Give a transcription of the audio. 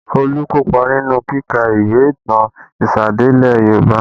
Olu kopa nínú kíka ìwé ìtàn ìsẹ̀dálẹ̀ Yoruba